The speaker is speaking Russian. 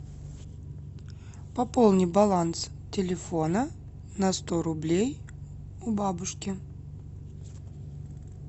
пополни баланс телефона на сто рублей у бабушки